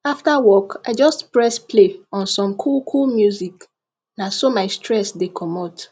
after work i just press play on some coolcool music na so my stress the commot